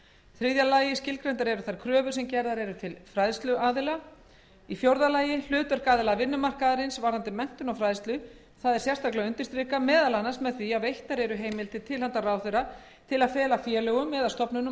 þriðja skilgreindar eru þær kröfur sem gerðar eru til fræðsluaðila fjórða hlutverk aðila vinnumarkaðarins varðandi menntun og fræðslu er undirstrikað meðal annars með því að veittar eru heimildir til handa ráðherra til að fela félögum eða stofnunum